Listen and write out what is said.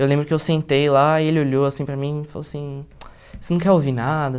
Eu lembro que eu sentei lá e ele olhou assim para mim e falou assim, você não quer ouvir nada?